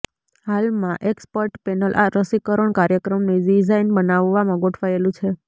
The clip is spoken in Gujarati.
હાલમાં એક્સપર્ટ પેનલ આ રસીકરણ કાર્યક્રમની ડીઝાઈન બનાવવામાં ગોઠવાયેલું છે